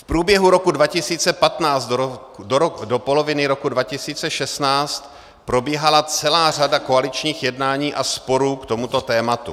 V průběhu roku 2015 do poloviny roku 2016 probíhala celá řada koaličních jednání a sporů k tomuto tématu.